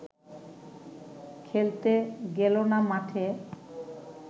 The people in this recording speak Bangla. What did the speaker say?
খেলতে গেল না মাঠে